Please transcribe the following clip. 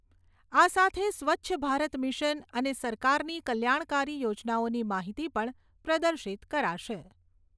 આ સાથે સ્વચ્છ ભારત મિશન અને સરકારની કલ્યાણકારી યોજનાઓની માહિતી પણ પ્રદર્શિત કરાશે.